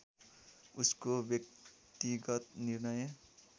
उसको व्यक्तिगत निर्णय